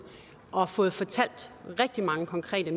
og fået fortalt rigtig mange konkrete